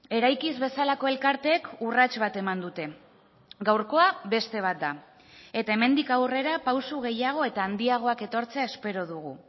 eraikiz bezalako elkarteek urrats bat eman dute gaurkoa beste bat da eta hemendik aurrera pauso gehiago eta handiagoak etortzea espero dugu